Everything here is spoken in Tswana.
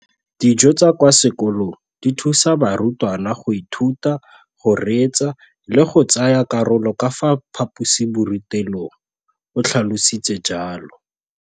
Dijo tsa kwa sekolong dithusa barutwana go ithuta, go reetsa le go tsaya karolo ka fa phaposiborutelong, o tlhalositse jalo.